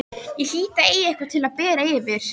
Ég hlýt að eiga eitthvað til að bera yfir.